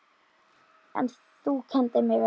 En þú kenndir mér vel.